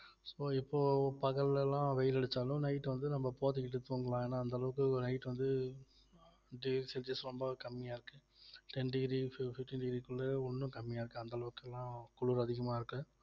so இப்போ பகல்ல எல்லாம் வெயில் அடிச்சாலும் night வந்து நம்ம போத்திக்கிட்டு தூங்கலாம் ஏன்னா அந்த அளவுக்கு night வந்து ரொம்பவ கம்மியா இருக்கு ten degree fif~ fifteen degree க்குள்ள ஒண்ணும் கம்மியா இருக்கு அந்த அளவுக்குல்லாம் குளிர் அதிகமா இருக்கு